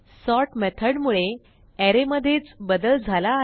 sort मेथडमुळे अरे मधेच बदल झाला आहे